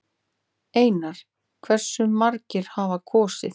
Einar: Hversu margir hafa kosið?